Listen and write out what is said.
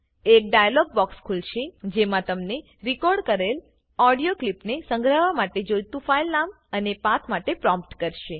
એક dialog box ખુલશે જેમાં તમને રેકોર્ડ કરેલ ઓડીઓ કલીપને સંગ્રહવા માટે જોઈતું ફાઈલ નામ અને પાથ માટે પ્રોમ્ટ કરશે